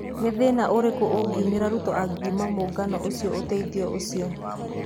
Nĩ thĩna ũrĩkũũngiumĩra Ruto angiuma angiuma mũũngano ũcio ũtheithio ũcio?